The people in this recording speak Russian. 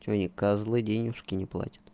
че они козлы денежки не платят